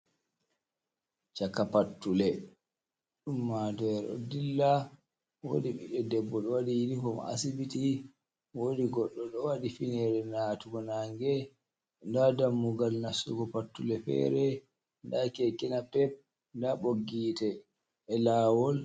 Chaka pattule ummatore ɗo dilla, woodi ɓiɗɗo debbo ɗo waɗi yinifom asibiti, woodi goɗɗo ɗo waɗi finere natugo nange nda dammugal nastugo pattule feere, nda kekenapep nda ɓoggi hiite e lawol.